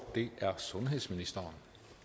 er sundhedsministeren